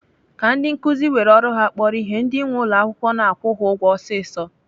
Ka ndị nkuzi were ọrụ ha kpọrọ ihe, ndi nwee ụlọakwụkwọ na-akwụ ha ụgwọ ọsịsọ.